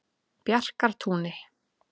Bjarkartúni